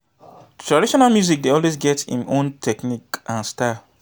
traditional music dey always get im own technique and style